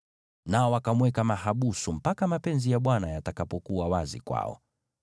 Nao wakamweka mahabusu mpaka mapenzi ya Bwana yawe wazi kwao.